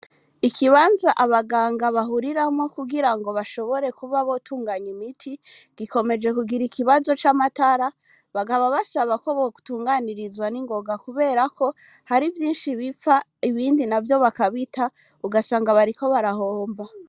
Ikibanza abaganga bahuriramwo kugira ngo bashobore kuba botunganya imiti gikomeje kugira ikibazo c'amatara bagaba bashabako bo kutunganirizwa n'ingonga kuberako hari vyinshi bipfa ibindi na vyo bakabita ugasanga bariko barahomba.